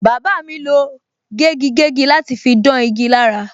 Bàbá mi lo gégigégi láti fi dán igi lára.